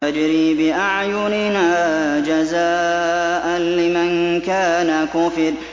تَجْرِي بِأَعْيُنِنَا جَزَاءً لِّمَن كَانَ كُفِرَ